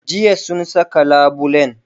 Jiya sun saka labulen?